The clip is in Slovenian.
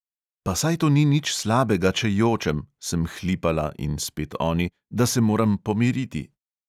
Pa saj to ni nič slabega, če jočem, sem hlipala, in spet oni, da se moram pomiriti.